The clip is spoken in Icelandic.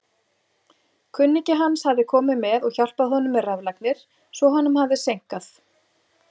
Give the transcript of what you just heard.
Kunningi hans hafði komið og hjálpað honum með raflagnir svo honum hafði seinkað.